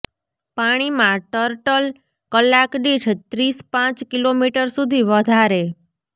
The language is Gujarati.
પાણીમાં ટર્ટલ કલાક દીઠ ત્રીસ પાંચ કિલોમીટર સુધી વધારે